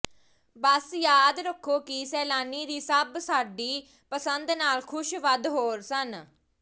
ਬਸ ਯਾਦ ਰੱਖੋ ਕਿ ਸੈਲਾਨੀ ਦੀ ਸਭ ਸਾਡੀ ਪਸੰਦ ਨਾਲ ਖੁਸ਼ ਵੱਧ ਹੋਰ ਸਨ